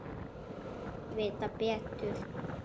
Flestir vita betur.